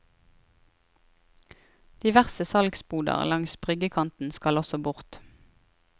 Diverse salgsboder langs bryggekanten skal også bort.